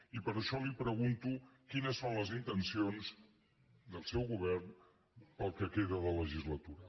i per això li pregunto quines són les intencions del seu govern per al que queda de legislatura